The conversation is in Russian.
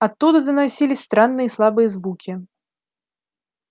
оттуда доносились странные слабые звуки